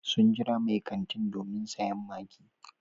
Sun jira mai kantin domin sayen maggi.